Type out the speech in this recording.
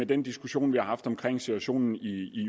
den diskussion vi har haft om situationen i